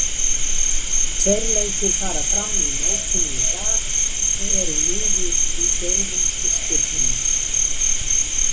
Tveir leikir fara fram í mótinu í dag og eru liður í fjórðungsúrslitunum.